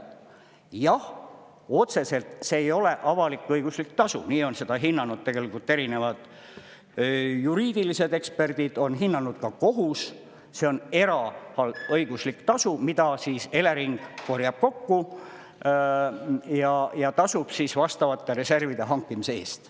Jah, otseselt, see ei ole avalik-õiguslik tasu, nii on seda hinnanud tegelikult erinevad juriidilised eksperdid, on hinnanud ka kohus, see on eraõiguslik tasu, mida Elering korjab kokku ja tasub vastavate reservide hankimise eest.